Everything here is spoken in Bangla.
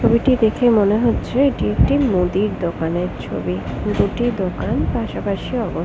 ছবিটি দেখে মনে হচ্ছে এটি একটি মুদির দোকানের ছবি। দুটি দোকান পাশাপাশি অবস--